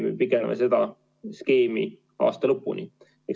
Me pikendame seda skeemi aasta lõpuni.